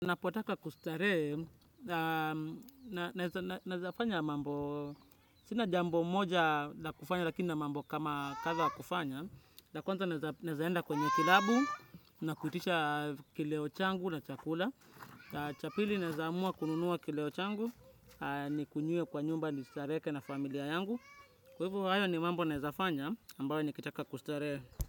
Napotaka kustarehe, naezafanya mambo, sina jambo moja na kufanya, lakini nina mambo kama kadha wa kufanya. La kwanza naezaenda kwenye kilabu, nakuitisha kileo changu na chakula. Cha pili naeza amua kununuwa kileo changu, nikunywe kwa nyumba, nistareke na familia yangu. Kwa hivo, hayo ni mambo naezafanya, ambayo nikitaka kustaree.